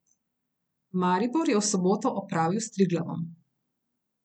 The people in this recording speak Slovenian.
Maribor je v soboto opravil s Triglavom.